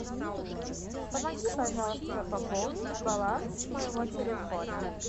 помоги пожалуйста пополнить баланс моего телефона